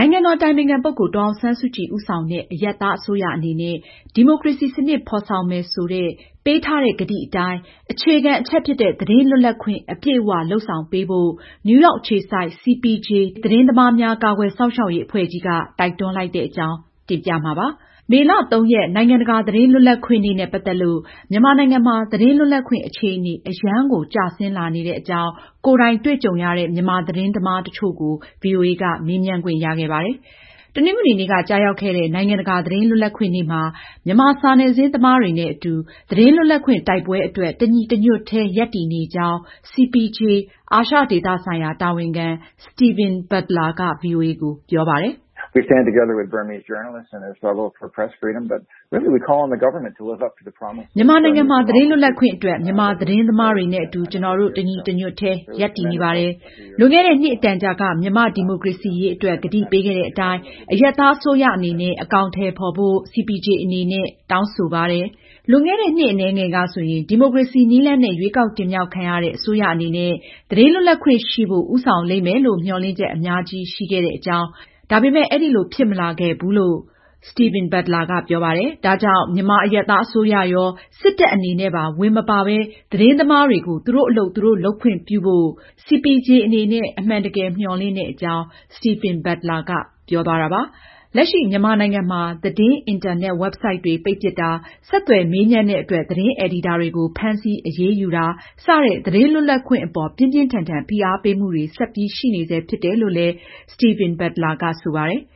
နိုင်ငံတော် အတိုင်ပင်ခံပုဂ္ဂိုလ် ဒေါ်အောင်ဆန်းစုကြည် ဦးဆောင်တဲ့ အရပ်သားအစိုးရ အနေနဲ့ ဒီမိုကရေစီစနစ် ဖေါ်ဆောင်မယ်ဆိုတဲ့ ပေးထားတဲ့ကတိအတိုင်း အခြေခံအချက်ဖြစ်တဲ့ သတင်း လွတ်လပ်ခွင့် အပြည့်အဝလုပ်ဆောင်ပေးဖို့ နယူးရောက်အခြေစိုက် CPJ သတင်းသမားများ ကာကွယ်စောင့်ရှောက်ရေး အဖွဲ့ ကြီးက မနေ့ တနင်္လာနေ့က တိုက်တွန်းလိုက်ပါတယ်။ မေလ ရက် နိုင်ငံတကာ သတင်းလွတ်လပ်ခွင့်နေ့ နဲ့ ပတ်သက်လို့မြန်မာနိုင်ငံမှာ သတင်းလွတ်လပ်ခွင့် အခြေအနေ အရမ်းကို ကျဆင်းလာနေတဲ့အကြောင်း ကိုယ်တိုင်တွေ့ကြုံရတဲ့ မြန်မာသတင်းသမားတချို့ကိုဗွီအိုအေ က မေးမြန်းခွင့်ရခဲ့ပါတယ်။ မအင်ကြင်းနိုင်က ဆက်လက်တင်ပြမှာပါ။ တနင်္ဂနွေနေ့က ကျရောက်ခဲ့တဲ့ နိုင်ငံတကာသတင်းလွတ်လပ်ခွင့်နေ့မှာ မြန်မာစာနယ်ဇင်း သမားတွေနဲ့အတူ သတင်းလွတ်လပ်ခွင့်တိုက်ပွဲအတွက် တညီတညွတ်တည်း ရပ်တည်နေကြောင်း CPJ အာရှဒေသဆိုင်ရာ တာဝန်ခံ Steven Butler က ဗွီအိုအေကို ပြောပါတယ်။ " မြန်မာနိုင်ငံမှာ သတင်းလွတ်လပ်ခွင့်အတွက် မြန်မာ သတင်းသမားတွေနဲ့ ကျနော်တို့ တညီတညွတ်တည်း ရပ်တည်နေပါတယ်။ လွန်ခဲ့တဲ့ နှစ်အတန်ကြာက မြန်မာဒီမိုကရေစီရေးအတွက် ကတိပေးခဲ့တဲ့အတိုင်း အရပ်သားအစိုးရအနေနဲ့ အကောင်အထည်ဖေါ် ဖို့ CPJ အနေနဲ့ တောင်းဆိုပါတယ်။လွန်ခဲ့တဲ့ နှစ်အနည်းငယ်ကဆိုရင် ဒီမိုကရေစီနည်းလမ်းနဲ့ ရွေးကောက်တင်မြှောက်ခံရတဲ့ အစိုးရအနေနဲ့ သတင်းလွတ်လပ်ခွင့်ရှိဖို့ ဦးဆောင်လိမ့်မယ်လို့ မျှော်လင့်ချက် အများကြီးရှိခဲ့တာပါ။ ဒါပေမဲ့ အဲဒီလို ဖြစ်မလာခဲ့ပါဘူး။ ဒါကြောင့် မြန်မာအရပ်သားအစိုးရရော၊ စစ်တပ်ကပါ ဝင်မပါပဲ သတင်းသမားတွေ ကို သူတို့အလုပ်သူတို့ လုပ်ဖို့ ခွင့်ပြုလိမ့်မယ်လို့ ကျနော်တို့ အမှန်တကယ်ပဲ မျှော်လင့်ပါတယ်။" လက်ရှိ မြန်မာနိုင်ငံမှာ သတင်း အင်တာနက် ဝက်ဘ်ဆိုဒ်တွေကို ပိတ်ပစ်တာ၊ ဆက်သွယ်မေးမြန်းတဲ့အတွက် သတင်းအယ်ဒီတာတွေကို ဖမ်းဆီးအရေးယူတာ စတဲ့ သတင်းလွတ်လပ်ခွင့်အပေါ် ပြင်းပြင်းထန်ထန် ဖိအားပေးမှုတွေ ဆက်ပြီးရှိနေဆဲဖြစ်တယ်လို့ Steven Butler ကဆိုပါတယ်။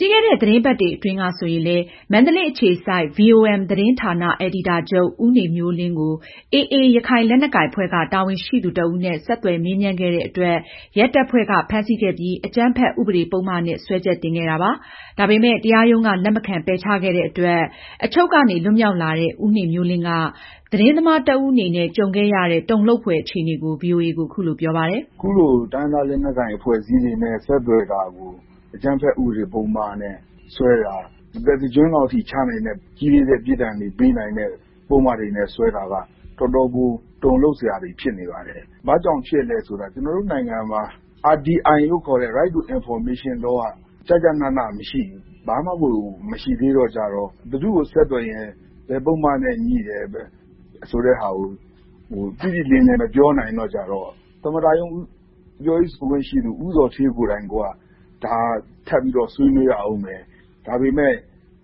ပြီးခဲ့တဲ့ သတင်းပတ်တွေအတွင်းကဆိုရင်လည်း မန္တလေးအခြေစိုက် VOM သတင်းဌာန အယ်ဒီတာချုပ် ဦးနေမျိုးလင်းကို AA ရခိုင်လက်နက်ကိုင်အဖွဲ့က တာဝန်ရှိသူတဦးနဲ့ ဆက်သွယ်မေးမြန်းခဲ့တဲ့အတွက် ရဲတပ်ဖွဲ့က ဖမ်းဆီးခဲ့ပြီး အကြမ်းဖက်ဥပဒေပုဒ်မနဲ့ စွဲချက်တင်ခဲ့တာပါ။ ဒါပေမယ့် တရားရုံးက လက်မခံပယ်ချခဲ့တဲ့အတွက်သာ အချုပ်ကနေ လွတ်မြောက်လာတဲ့ ဦးနေမျိုးလင်းက သတင်းသမားတဦးအနေနဲ့ ကြုံခဲ့ရတဲ့ တုန်လှုပ်ဖွယ် အခြေအနေကို ဗွီအိုအေကို အခုလို ပြောပါတယ်။ "အခုလို တိုင်းရင်းသားလက်နက်ကိုင် အဖွဲ့အစည်းတွေနဲ့ ဆက်သွယ်မေးမြန်းတာကို အကြမ်းဖက် ဥပဒေပုဒ်မနဲ့ စွဲတာ၊ တသက်တကျွန်းလောက်ထိ ချနိုင်တဲ့ ကြီးလေးတဲ့ ပြစ်ဒဏ်တွေ ပေးနိုင်တဲ့ ပုဒ်မတွေနဲ့စွဲတာက တော်တော်ကို တုန်လှုပ်စရာဖြစ်နေပါတယ်။ ဘာကြောင့်ဖြစ်လဲဆိုတော့ ကျနော်တို့နိုင်ငံမှာ RTI လို့ခေါ်တဲ့ Right to Information law သတင်းအချက်အလက် ရယူခွင့်ဆိုင်ရာ ဥပဒေ ကျကျနနမရှိသေးဘူး။ ဘာမှကို မရှိသေးတော့ ဘယ်သူ့ကို ဆက်သွယ်ရင် ဘယ်ပုဒ်မနဲ့ ညိတယ်ဆိုတာ တိတိလင်းလင်း မပြောနိုင်တော့၊ သမ္မတရုံး ပြောခွင့်ရှိသူ ဦးဇော်ဌေးကိုယ်တိုင် ကိုက ဒါကို ထပ်ပြီးဆွေးနွေးရအုံးမယ်၊ ဒါပေမဲ့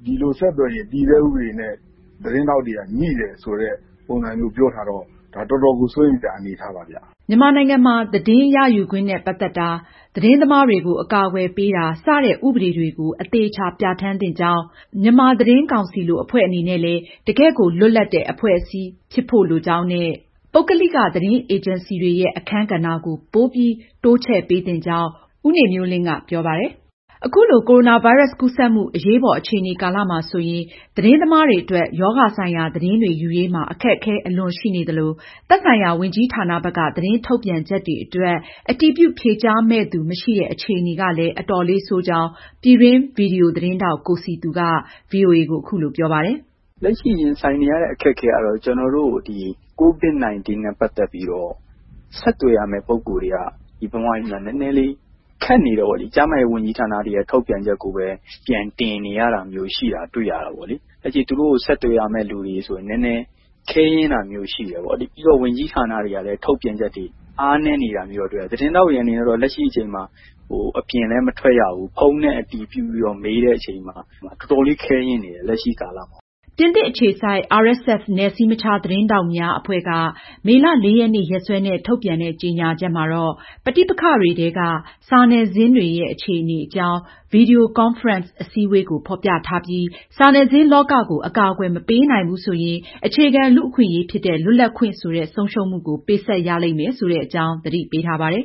ဒီလိုဆက်သွယ်ရင် တည်ဆဲဥပဒေနဲ့ သတင်းထောက်တွေက ငြိတယ်ဆိုတဲ့ ပုံစံမျိုး ပြောထားတော့ တော်တော်ကို စိုးရိမ်စရာကောင်းတဲ့ အနေအထားပါ။" ဒါအပြင် မြန်မာနိုင်ငံမှာ သတင်းရယူခွင့် နဲ့ ပတ်သက်တာ၊ သတင်းသမားတွေကို အကာအကွယ် ပေးတာ စတဲ့ ဥပဒေတွေကို အသေအချာ ပြဌာန်းသင့်ကြောင်း၊ မြန်မာသတင်းကောင်စီ လို အဖွဲ့အနေနဲ့ တကယ့်ကို လွတ်လပ်တဲ့ အဖွဲ့အစည်းမျိုး ဖြစ်သင့်ကြောင်း၊ ပုဂ္ဂလိက သတင်းအေဂျင်စီတွေရဲ့ အခန်းကဏ္ဍကို ပိုပြီး တိုးချဲ့ပေးသင့်ကြောင်း ဦးနေမျိုးလင်းက ပြောပါတယ်။ ကမ္ဘာ့ ကပ်ရောဂါ ကိုရိုနာဗိုင်းရပ်စ် ကူးစက်မှု အရေးပေါ်အခြေအနေကာလမှာ ဆိုရင် သတင်းသမားတွေအတွက် ရောဂါဆိုင်ရာ သတင်းတွေယူရေးမှာ အခက်အခဲအလွန်ရှိနေသလို၊ သက်ဆိုင်ရာ ဝန်ကြီးဌာနဘက်က သတင်းထုတ်ပြန်ချက်တွေအတွက် အတည်ပြု ဖြေကြားမယ့် သူ မရှိတဲ့ အခြေအနေကလည်း အတော်လေး ဆိုးကြောင်း ပြည်တွင်း ဗွီဒီယိုသတင်းထောက် ကိုစည်သူက ဗွီအိုအေကို ပြောပါတယ်။ " လက်ရှိ ရင်ဆိုင်နေရတဲ့ အခက်အခဲကတော့ ကျနော်တို့ COVID-19 နဲ့ ပတ်သက်ပြီးတော့ မြန်မာနိုင်ငံမှာ ဆက်သွယ်မေးမြန်းရမယ့် ပုဂ္ဂိုလ်တွေက နည်းနည်း ခက်နေတော့ ကျန်းမာရေးဝန်ကြီးဌာနရဲ့ ထုတ်ပြန်ချက်ကိုပဲ ပြန်တင်နေရတာမျိုးရှိတာ တွေ့ရတာပေါ့လေ။ သူတို့ကို ဆက်သွယ်တဲ့အခါမှာလည်း ခက်ခဲပါတယ်။ ပြီးတော့ ဝန်ကြီးဌာနတွေဘက်က ထုတ်ပြန်ချက်တွေ မှာလည်း အားနည်းတာမျိုးတွေ တွေ့ရပါတယ်။ သတင်းထောက်တွေအနေနဲ့ လက်ရှိအခြေအနေမှာ အပြင်လည်း မထွက်ရဘူး။ ဖုန်းနဲ့ပဲ ဆက်သွယ်အတည်ပြုပြီး မေးရတဲ့အချိန်မှာ တော်တော်လည်း ခက်ခဲနေပါတယ်။" ပြင်သစ်အခြေစိုက် RSF နည်းစည်းမခြားသတင်းထောက်များအဖွဲ့က မေလ ရက်နေ့ ရက်စွဲနဲ့ ထုတ်ပြန်တဲ့ ကြေညာချက်မှာ ပဋိပက္ခတွေထဲက စာနယ်ဇင်းတွေရဲ့ အခြေအနေ အကြောင်း သူတို့ ပြုလုပ်တဲ့ ဗွီဒီယိုကွန်ဖရင့် အစည်းအဝေးကို ဖေါ်ပြထားပြီး စာနယ်ဇင်းလောကကို အကာအကွယ်မပေးနိုင်ဘူးဆိုရင် အခြေခံလူ့အခွင့်အရေးဖြစ်တဲ့ လွတ်လပ်ခွင့်ဆိုတဲ့ ဆုံးရှုံးမှုကို ပေးဆပ်ရလိမ့်မယ်ဆိုတဲ့အကြောင်း သတိပေးထားပါတယ်